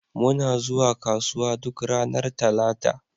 Muna zuwa kasuwa duk ranar Talata.